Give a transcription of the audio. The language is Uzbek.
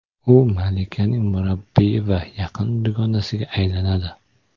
U malikaning murabbiyi va yaqin dugonasiga aylanadi.